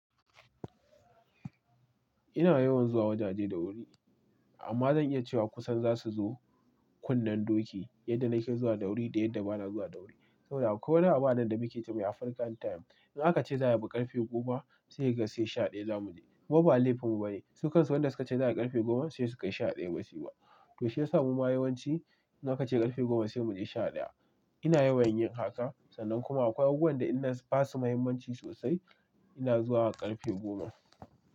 Ina yawan zuwa wajaje da wuri, amma zan iya cewa kusan za su zo kunnen doki yadda na ke zuwa da wuri da yadda ba na zuwa da wuri. Saboda akwai wani abu anan da muke ce mai African time. In aka ce zai abu ƙarfe goma, sai ka sai sha ɗaya zamu je. Kuma ba laifinmu ba ne. Su kan su wanda suka ce za a ƙarfe goma sai su kai sha ɗaya basu ba. To shiyasa mu ma yawanci in aka ce ƙarfe goma sai mu je sha ɗaya. Ina yawan yin haka sannan kuma akwai abubuwan da in na basu muhimmanci sosai. Ina zuwa ƙarfe goma.